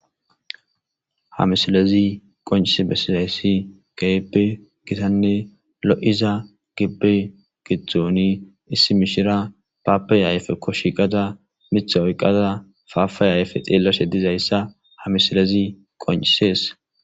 ha misilezi qoncise bessisayssi gaebe gitanne lo7iza gibbe gidzdzoni issi mishira paappey ayfekkoshiqata mitha oyqata faafay ayfe xeelloshe dizayssa hamisilezi qoncisees